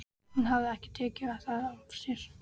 Hún hafði ekki tekið það af sér.